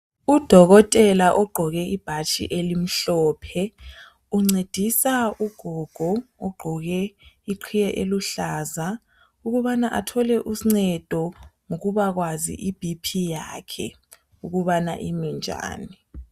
Udokotela ugqoke ibhatshi elimhlophe. Uncedisa ugogo ugqoke iqhiye eluhlaza ukubana athole uncedo ngokubakwazi iBP yakhe ukubana iminjani.